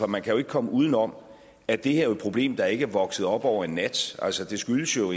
man kan jo ikke komme uden om at det her jo er et problem der ikke er vokset op over en nat altså det skyldes jo